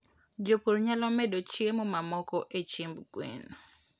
Jopur nyalo medo chiemo mamoko e chiemb gwen.